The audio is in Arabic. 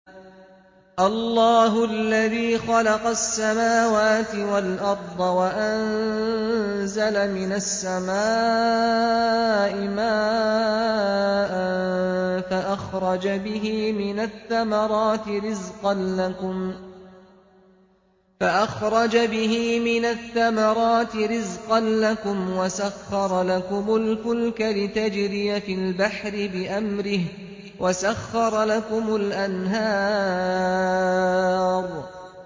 اللَّهُ الَّذِي خَلَقَ السَّمَاوَاتِ وَالْأَرْضَ وَأَنزَلَ مِنَ السَّمَاءِ مَاءً فَأَخْرَجَ بِهِ مِنَ الثَّمَرَاتِ رِزْقًا لَّكُمْ ۖ وَسَخَّرَ لَكُمُ الْفُلْكَ لِتَجْرِيَ فِي الْبَحْرِ بِأَمْرِهِ ۖ وَسَخَّرَ لَكُمُ الْأَنْهَارَ